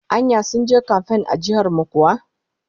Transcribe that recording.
Anya sun je kamfan a jihar mu kuwa?